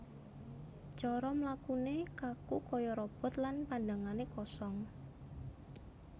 Cara mlakune kaku kaya robot lan pandhangane kosong